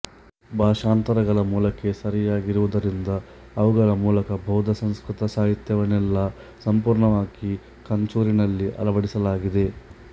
ಭಾಷಾಂತರಗಳು ಮೂಲಕ್ಕೆ ಸರಿಯಾಗಿರುವುದರಿಂದ ಅವುಗಳ ಮೂಲಕ ಬೌದ್ಧ ಸಂಸ್ಕೃತ ಸಾಹಿತ್ಯವನ್ನೆಲ್ಲ ಸಂಪೂರ್ಣವಾಗಿ ಕಂಚೂರಿನಲ್ಲಿ ಅಳವಡಿಸಲಾಗಿದೆ